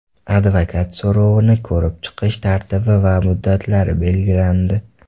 Advokat so‘rovini ko‘rib chiqish tartibi va muddatlari belgilandi.